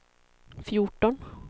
fjorton